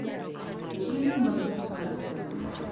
Chiemo mag Paska: